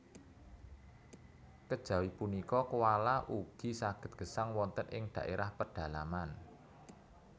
Kejawi punika koala ugi saged gesang wonten ing dhaérah pedalaman